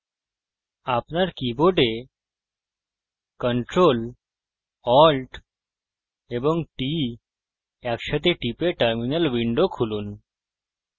আপনার keyboard ctrl alt এবং t একসাথে টিপে terminal window খুলুন